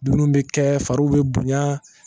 Dumuni bɛ kɛ fariw bɛ bonya